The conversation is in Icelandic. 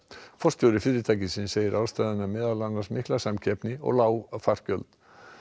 forstjóri fyrirtækisins segir ástæðuna meðal annars mikla samkeppni og lág flugfargjöld